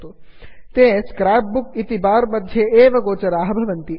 ते scrapbook scrapbook इति bar मध्ये गोचराः भवन्ति